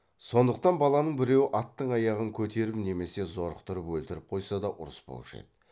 сондықтан баланың біреуі аттың аяғын көтеріп немесе зорықтырып өлтіріп қойса да ұрыспаушы еді